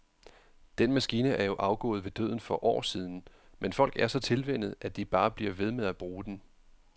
Den maskine er jo afgået ved døden for år siden, men folk er så tilvænnet, at de bare bliver ved med at bruge den.